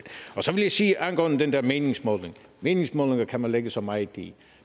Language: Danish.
jeg sige angående den der meningsmåling meningsmålinger kan man lægge så meget i